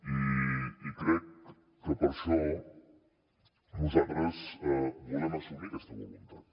i crec que per això nosaltres volem assumir aquesta voluntat